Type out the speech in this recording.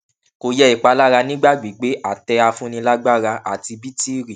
kò yẹ ìpalára nígbà gbígbé àtẹafúnilágbára àti bítìrì